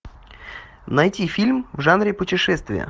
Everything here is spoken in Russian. найти фильм в жанре путешествия